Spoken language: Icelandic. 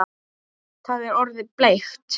Það er orðið bleikt!